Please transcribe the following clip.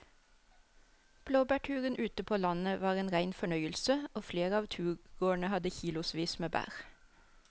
Blåbærturen ute på landet var en rein fornøyelse og flere av turgåerene hadde kilosvis med bær.